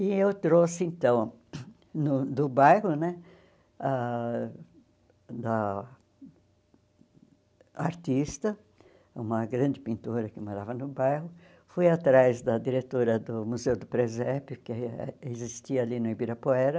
E eu trouxe, então, no do bairro né, ãh da a artista, uma grande pintora que morava no bairro, fui atrás da diretora do Museu do Presépio, que existia ali no Ibirapuera,